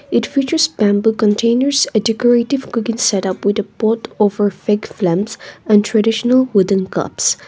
it features bamboo containers a decorative cooking setup with a pot over big flames and traditional wooden cups.